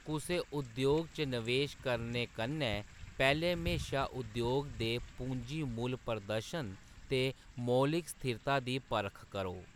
कुसै उद्योग च नवेश करने कन्नै पैह्‌‌‌लें म्हेशा उद्योग दे पूंजी मुल्ल प्रदर्शन ते मौलिक स्थिरता दी परख करो।